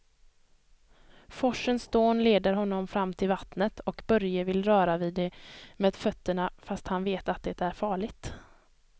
Forsens dån leder honom fram till vattnet och Börje vill röra vid det med fötterna, fast han vet att det är farligt.